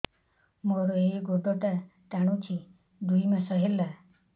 ମୋର ଏଇ ଗୋଡ଼ଟା ଟାଣୁଛି ଦୁଇ ମାସ ହେଲା